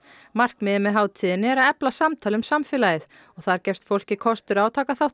markmiðið með hátíðinni er að efla samtal um samfélagið og þar gefst fólki kostur á að taka þátt í